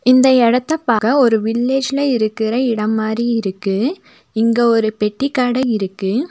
இந்த எடத்த பாக்க ஒரு வில்லேஜ்ல இருக்குற இடம் மாரி இருக்கு இங்க ஒரு பெட்டி கட இருக்கு.